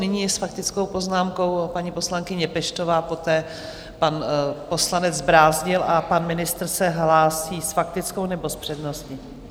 Nyní je s faktickou poznámkou paní poslankyně Peštová, poté pan poslanec Brázdil a pan ministr se hlásí s faktickou, nebo s přednostní?